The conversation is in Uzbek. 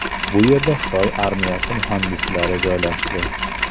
Bu yerda Xitoy armiyasi muhandislari joylashdi.